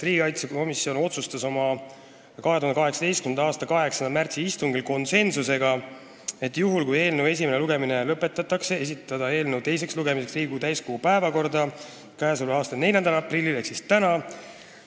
Riigikaitsekomisjon otsustas oma 2018. aasta 8. märtsi istungil , juhul kui eelnõu esimene lugemine lõpetatakse, esitada eelnõu teiseks lugemiseks Riigikogu täiskogu päevakorda k.a 4. aprilliks ehk tänaseks.